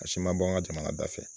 A si ma bɔ an ka jamana da fɛ.